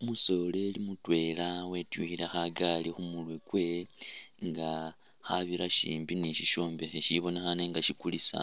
Umusoleli mutwela wetyukhile khagali khumurwe kwewe nga khabira shimbi ni sishombekhe sisibonekhane nga shikulisa